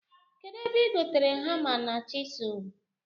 Kedụ ebe ị gotere hama na chịsụl